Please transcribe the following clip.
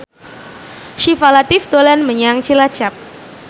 Syifa Latief dolan menyang Cilacap